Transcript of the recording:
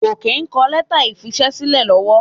Gòkè ń kọ lẹ́tà ìfisẹ́sílẹ̀ lọ́wọ́.